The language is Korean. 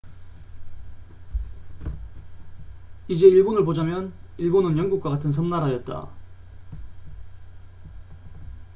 이제 일본을 보자면 일본은 영국과 같은 섬나라였다